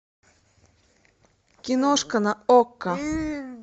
киношка на окко